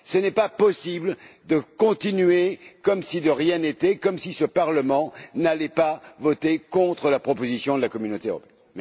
Il n'est pas possible de continuer comme si de rien n'était, comme si ce Parlement n'allait pas voter contre la proposition de la Communauté européenne.